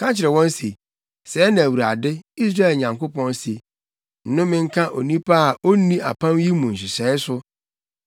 Ka kyerɛ wɔn se, sɛɛ na Awurade, Israel Nyankopɔn se: ‘Nnome nka onipa a onni apam yi mu nhyehyɛe so,